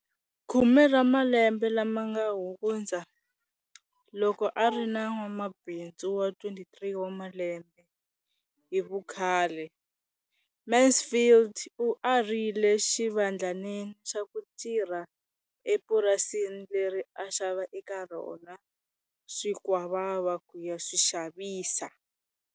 Khume ra malembe lama nga hundza, loko a ri na n'wamabindzu wa 23 wa malembe hi vukhale, Mansfield u arile xivandlanene xa ku tirha epurasini leri a xava eka rona swikwavava ku ya swi xavisa.